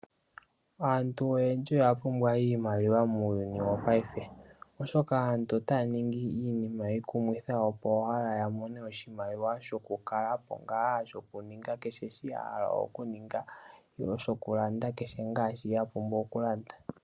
Aantu oyendji oya pumbwa iimaliwa muuyuni wopaife oshoka aantu otaya ningi iinima iikumithi, opo wala ya mone oshimaliwa, shoku kalapo nga, sho kuninga kehe shoka ahala oku ninga, nenge oku landa kehe shoka apumbwa oku landa.